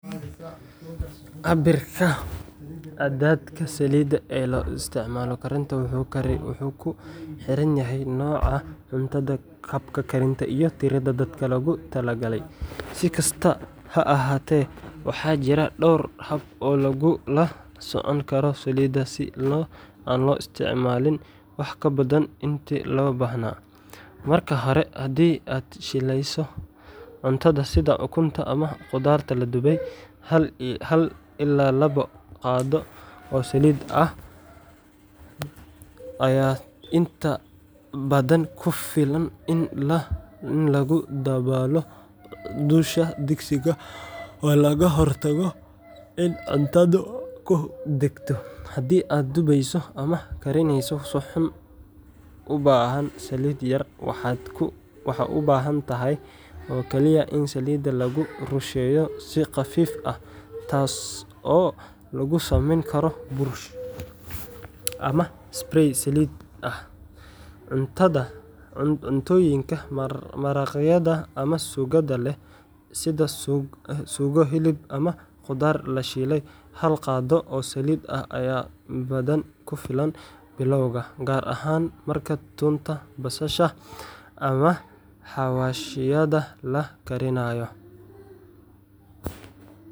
Cabbirka cadadka saliidda ee loo isticmaalo karinta wuxuu ku xiran yahay nooca cuntada, habka karinta, iyo tirada dadka loogu talagalay. Si kastaba ha ahaatee, waxaa jira dhowr hab oo lagula socon karo saliidda si aan loo isticmaalin wax ka badan intii loo baahnaa:Marka hore, haddii aad shiilayso cunto sida ukunta ama khudaar la dubayo, hal ilaa laba qaado oo saliid ah hal laba qaado ayaa inta badan ku filan in lagu daboolo dusha digsiga oo laga hortago in cuntadu ku dhegto. Haddii aad dubayso ama karineyso suxuun u baahan saliid yar, waxaad u baahan tahay oo kaliya in saliidda lagu rusheeyo si khafiif ah taas oo lagu sameyn karo burush, ama spray saliid ah. Cuntooyinka maraqyada ama suugada leh, sida suugo hilib ama khudaar la shiilay, hal qaado oo saliid ah ayaa badanaa ku filan bilowga, gaar ahaan marka toonta, basasha ama xawaashyada la karinayo.